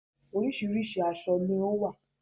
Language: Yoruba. Oríṣiríṣi aṣọ ni ó wà